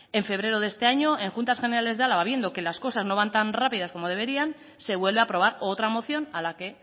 en febrero de este año en juntas generales de álava viendo que las cosas no van tan rápidas como deberían se vuelve a aprobar otra moción a la que